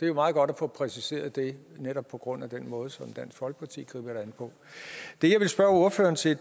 jo meget godt at få præciseret det netop på grund af den måde som dansk folkeparti griber det an på det jeg vil spørge ordføreren til